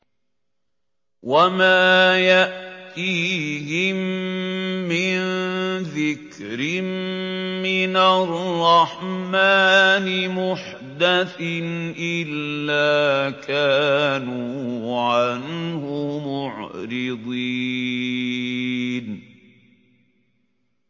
وَمَا يَأْتِيهِم مِّن ذِكْرٍ مِّنَ الرَّحْمَٰنِ مُحْدَثٍ إِلَّا كَانُوا عَنْهُ مُعْرِضِينَ